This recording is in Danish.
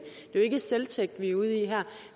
er ikke selvtægt vi er ude i her